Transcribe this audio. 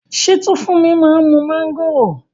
Ṣé Tófúnmi má ń mu mángòrò?